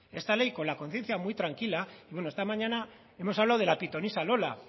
esta ley con la conciencia muy tranquila bueno esta mañana hemos hablado de la pitonisa lola